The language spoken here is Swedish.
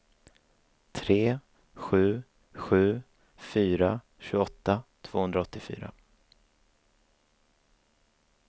tre sju sju fyra tjugoåtta tvåhundraåttiofyra